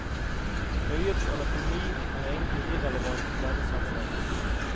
Øyets anatomi er egentlig irrelevant i denne sammenheng.